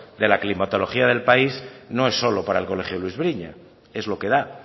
de la climatología del país no es solo para el colegio luis briñas es lo que da